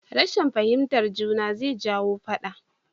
Rashin fahimtar juna zai jawo faɗa